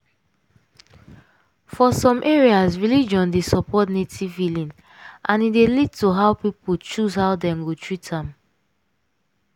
for some areas religion dey support native healing and e dey lead to how people choose hoe dem go treat am.